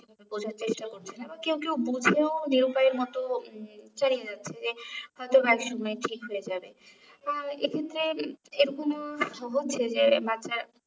বোঝার চেষ্টা করছে না কেও কেও বুঝেও নিরুপায়ের মতো চালিয়ে যাচ্ছে যে হয়তো একসময় ঠিক হয়ে যাবে আহ এ ক্ষেত্রে এরকমও হচ্ছে যে বাচ্ছা